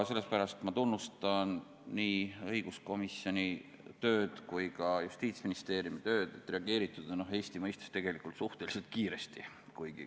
Sellepärast tunnustan ma nii õiguskomisjoni kui ka Justiitsministeeriumi tööd, reageeritud on Eesti mõistes tegelikult suhteliselt kiiresti.